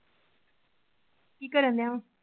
ਕਿ ਕਰਨ ਦਿਆਂ ਵਾਂ?